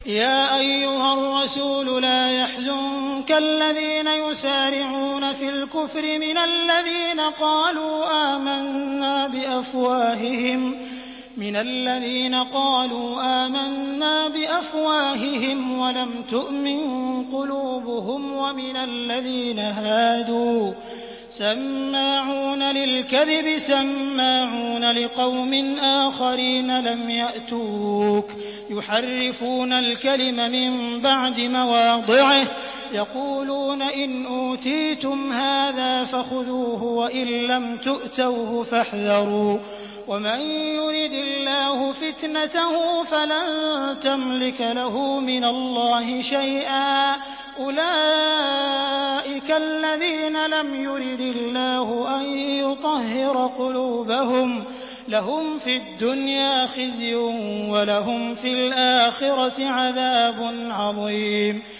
۞ يَا أَيُّهَا الرَّسُولُ لَا يَحْزُنكَ الَّذِينَ يُسَارِعُونَ فِي الْكُفْرِ مِنَ الَّذِينَ قَالُوا آمَنَّا بِأَفْوَاهِهِمْ وَلَمْ تُؤْمِن قُلُوبُهُمْ ۛ وَمِنَ الَّذِينَ هَادُوا ۛ سَمَّاعُونَ لِلْكَذِبِ سَمَّاعُونَ لِقَوْمٍ آخَرِينَ لَمْ يَأْتُوكَ ۖ يُحَرِّفُونَ الْكَلِمَ مِن بَعْدِ مَوَاضِعِهِ ۖ يَقُولُونَ إِنْ أُوتِيتُمْ هَٰذَا فَخُذُوهُ وَإِن لَّمْ تُؤْتَوْهُ فَاحْذَرُوا ۚ وَمَن يُرِدِ اللَّهُ فِتْنَتَهُ فَلَن تَمْلِكَ لَهُ مِنَ اللَّهِ شَيْئًا ۚ أُولَٰئِكَ الَّذِينَ لَمْ يُرِدِ اللَّهُ أَن يُطَهِّرَ قُلُوبَهُمْ ۚ لَهُمْ فِي الدُّنْيَا خِزْيٌ ۖ وَلَهُمْ فِي الْآخِرَةِ عَذَابٌ عَظِيمٌ